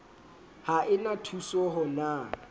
ha e na thusoho na